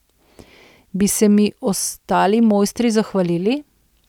Bi se mi ostali mojstri zahvalili?